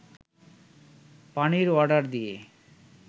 পানির অর্ডার দিয়ে